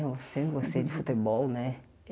Eu sempre gostei de futebol, né?